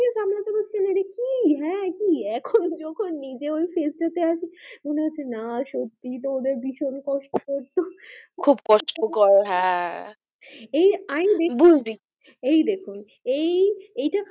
এখন যখন নিজও শেষটা আছি মনে হচ্ছে না সত্যি তো ওরা ভীষণ কষ্ট করতো খুব কষ্ট গো হ্যাঁ এই দেখুন এই